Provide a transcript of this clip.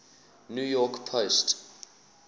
new york post